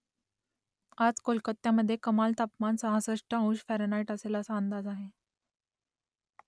आज कोलकात्यामधे कमाल तापमान सहासष्ट अंश फॅरनहाईट असेल असा अंदाज आहे